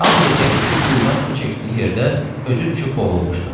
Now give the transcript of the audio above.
Hamıya deyərik ki, quyudan su çəkdiyi yerdə özü düşüb boğulmuşdu.